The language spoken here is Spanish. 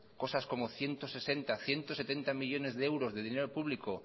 cosas como ciento sesenta ciento setenta millónes de euros de dinero público